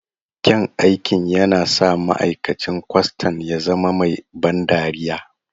Kyan aikin yana sa ma'aikacin kwastan ya zama mai ban dariya.